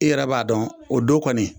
I yɛrɛ b'a dɔn o don kɔni